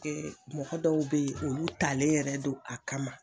mɔgɔ dɔw be ye olu talen yɛrɛ don a kama